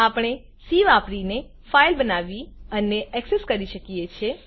આપણે સી વાપરીને ફાઈલ બનાવી અને ઍક્સેસ કરી શકિયે છે